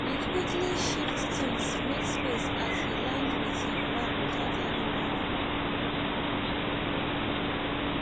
we quickly shift things make space as he land with him bag without any warning